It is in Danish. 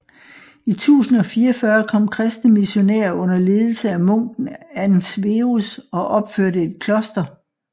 I 1044 kom kristne missionærer under ledelse af munken Ansverus og opførte et kloster